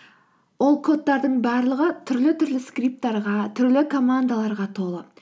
ол кодтардың барлығы түрлі түрлі скриптарға түрлі командаларға толы